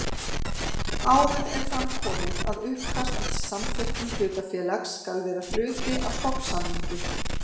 Áður er fram komið að uppkast að samþykktum hlutafélags skal vera hluti af stofnsamningi.